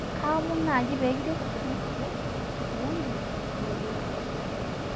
kaaomon naaji peekiret maisuja kifyonzi ee roboti